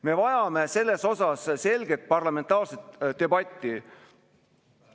Me vajame selles osas selget parlamentaarset debatti.